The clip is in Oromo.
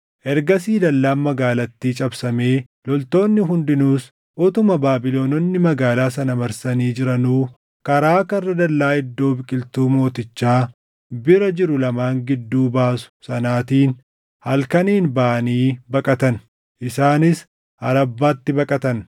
Ergasii dallaan magaalattii cabsamee loltoonni hundinuus utuma Baabilononni magaalaa sana marsanii jiranuu karaa karra dallaa iddoo biqiltuu mootichaa bira jiru lamaan gidduu baasu sanaatiin halkaniin baʼanii baqatan. Isaanis Arabbaatti baqatan;